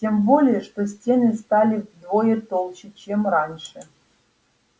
тем более что стены стали вдвое толще чем раньше